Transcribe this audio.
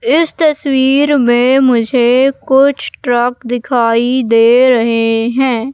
इस तस्वीर में मुझे कुछ ट्रक दिखाई दे रहे हैं।